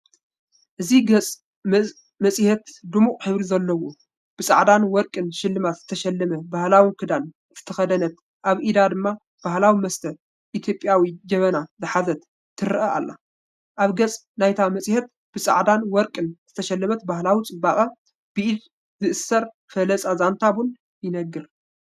እዚ ገጽ መጽሔት ድሙቕ ሕብሪ ኣለዎ። ብጻዕዳን ወርቅን ስልማት ዝተሰለመ ባህላዊ ክዳን ዝተከደነት፡ኣብ ኢዳ ድማ ባህላዊ መስተ ኢትዮጵያዊ ጀብና ዝሓዘት ትረአ ኣላ። ኣብ ገጽ ናይታ መጽሔት፡ ብጻዕዳን ወርቅን ዝተሰለመት ባህላዊ ጽባቐ፡ ብኢድ ዝእሰር ፍላጻ ዛንታ ቡን ይነግር።